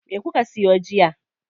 Me kuka siyo jiya?